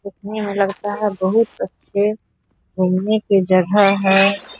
दिखने में लगता है बहुत अच्‍छे घूमने की जगह है।